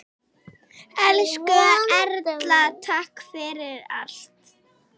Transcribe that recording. Elsku Erla, takk fyrir allt.